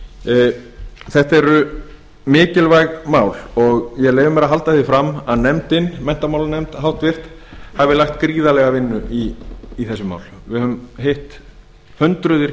skólastiga þetta eru mikilvæg mál og ég leyfi mér að halda því fram að háttvirtur menntamálanefnd hafi lagt gríðarlega vinnu í þessi mál við höfum hitt hundruð